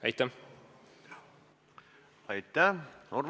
Aitäh!